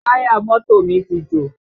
Táyà mọ́tò mi ti jò